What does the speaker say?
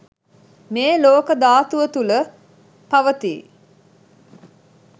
මේ ලෝක ධාතුව තුළ පවතී.